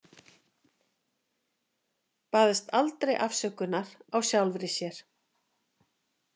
Baðst aldrei afsökunar á sjálfri sér.